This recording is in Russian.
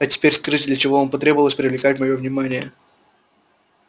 а теперь скажите для чего вам потребовалось привлекать моё внимание